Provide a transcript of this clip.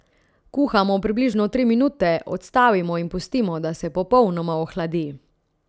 Kuhamo približno tri minute, odstavimo in pustimo, da se popolnoma ohladi.